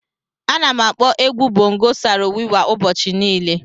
Ana m akpọ egwu bongo Saro Wiwa ụbọchị niile.